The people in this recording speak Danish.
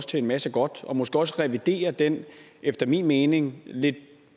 til en masse godt og måske også at revidere den efter min mening lidt